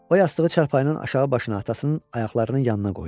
O yastığı çarpayının aşağı başına atasının ayaqlarının yanına qoydu.